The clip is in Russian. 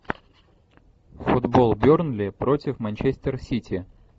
футбол бернли против манчестер сити